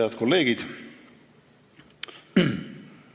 Head kolleegid!